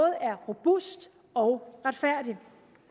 er robust og retfærdig